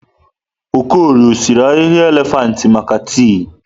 Okorie ọsiri ahịhịa elefantị maka tii?